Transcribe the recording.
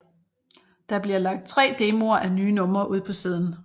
Der bliver lagt 3 demoer af nye numre ud på siden